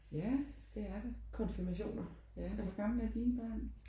Ja det er det. Ja og hvor gamle er dine børn?